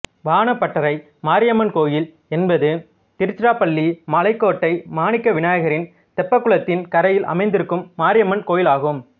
வானப்பட்டரை மாரியம்மன் கோயில் என்பது திருச்சிராப்பள்ளி மலைக்கோட்டை மாணிக்க விநாயகரின் தெப்பக்குளத்தின் கரையில் அமைந்திருக்கும் மாரியம்மன் கோயிலாகும்